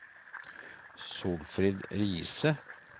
Solfrid Riise